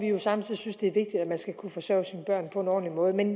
jo samtidig det er vigtigt at man skal kunne forsørge sine børn på en ordentlig måde men